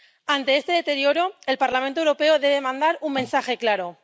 Ante este deterioro, el Parlamento Europeo debe mandar un mensaje claro.